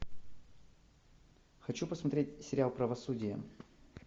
хочу посмотреть сериал правосудие